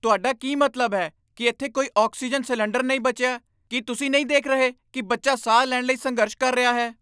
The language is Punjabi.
ਤੁਹਾਡਾ ਕੀ ਮਤਲਬ ਹੈ ਕਿ ਇੱਥੇ ਕੋਈ ਆਕਸੀਜਨ ਸਿਲੰਡਰ ਨਹੀਂ ਬਚਿਆ? ਕੀ ਤੁਸੀਂ ਨਹੀਂ ਦੇਖ ਰਹੇ ਕਿ ਬੱਚਾ ਸਾਹ ਲੈਣ ਲਈ ਸੰਘਰਸ਼ ਕਰ ਰਿਹਾ ਹੈ?